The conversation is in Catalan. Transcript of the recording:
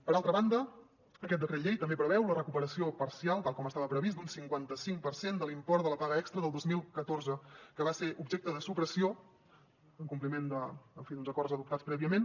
per altra banda aquest decret llei també preveu la recuperació parcial tal com estava previst d’un cinquantacinc per cent de l’import de la paga extra del dos mil catorze que va ser objecte de supressió en compliment en fi d’uns acords adoptats prèviament